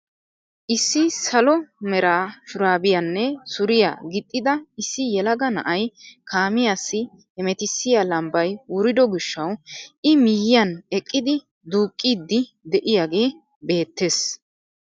Issi salo mera shuraabiyaanne suriyaa gixxida issi yelaga na'ay kaamiyaassi hemettisiyaa lambbay wurido gishshawu i miyiyaan eqqidi duuqqiidi de'iyaagee beettees.